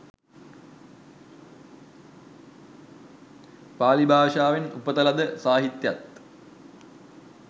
පාලි භාෂාවෙන් උපත ලද සාහිත්‍යයත්,